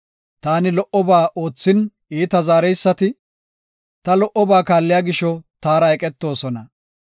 Taani lo77oba oothin iita zaareysati, ta lo77oba kaalliya gisho taara eqetoosona.